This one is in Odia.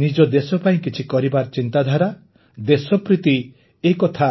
ନିଜ ଦେଶ ପାଇଁ କିଛି କରିବାର ଚିନ୍ତାଧାରା ଦେଶ ପ୍ରୀତି ଏ କଥା